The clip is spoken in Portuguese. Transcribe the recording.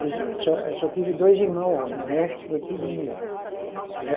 Eu só, eu só tive dois irmão homem, o resto foi tudo mulher.